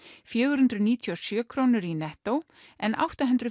fjögur hundruð níutíu og sjö krónur í Netto en átta hundruð